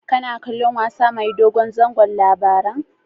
Kana kallon wasa mai dogon zango Labaran?